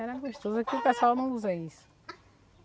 Era gostoso que o pessoal não usa isso.